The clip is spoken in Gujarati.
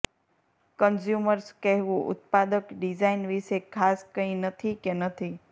કન્ઝ્યુમર્સ કહેવું ઉત્પાદક ડિઝાઇન વિશે ખાસ કંઇ નથી કે નથી